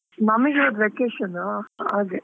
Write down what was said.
ನಮಿಗೆ ಈಗ vacation ಹಾಗೆ.